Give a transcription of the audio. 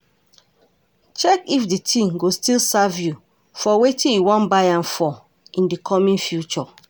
Check if di thing go still serve you for wetin you wan buy am for in di coming future